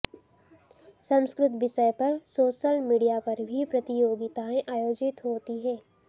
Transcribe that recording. संस्कृत विषय पर social media पर भी प्रतियोगितायें आयोजित होती है